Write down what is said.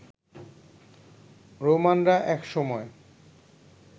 রোমানরা এক সময়